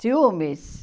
Ciúmes?